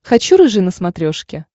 хочу рыжий на смотрешке